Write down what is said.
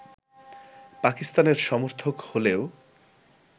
পাকিস্তানের সমর্থক হলেও